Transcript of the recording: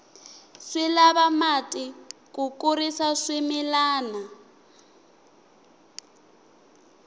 swi lava mati ku kurisa swimilana